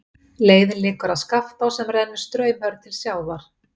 Leiðin liggur að Skaftá sem rennur straumhörð til sjávar.